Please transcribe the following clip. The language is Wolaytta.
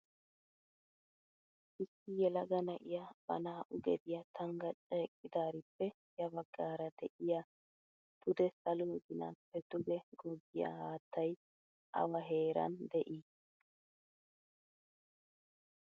Issi yelaga na'iyaa ba naa"u gediyaa tangachcha eqqidaarippe ya baggaara de'iyaa pude saluwaa ginaappe duge goggiyaa haattay awa heeran de'ii?